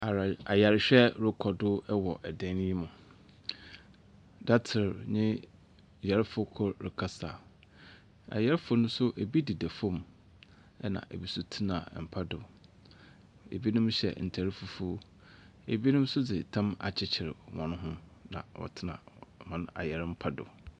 Arae…ayarhwɛ rokɔ do wɔ dan yi mu, datser nye yarfo kor rekasa. Ayarfo no so bi deda famu na binom tsena mpa do. Binom hyɛ ntar fufuw, binom so dze tam akyekyer hɔnho na wɔtsena hɔn ayarmpa do.